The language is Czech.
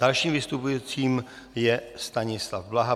Dalším vystupujícím je Stanislav Blaha.